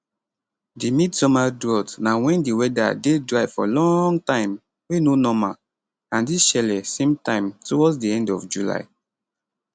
di midsummer drought na wen di weather dey dry for long time wey no normal and dis shele same time towards di end of july